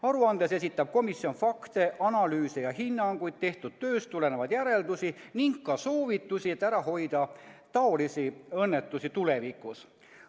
Aruandes esitab komisjon fakte, analüüse ja hinnanguid, tehtud tööst tulenevaid järeldusi ning ka soovitusi, et ära hoida taolisi õnnetusi tulevikus.